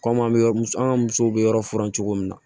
Komi an bɛ an ka musow be yɔrɔ furan cogo min na